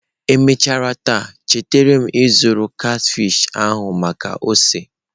Emechara taa chetara m ịzụrụ catfish ahụ maka ose.